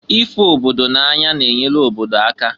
Ịfụ obodo na-anya na-enyelu obodo aka.